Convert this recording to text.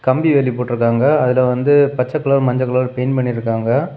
கம்பி வேலி போட்டு இருக்காங்க. அதுல வந்து பச்சை கலர் மஞ்ச கலர் பெயிண்ட் பண்ணி இருக்காங்க.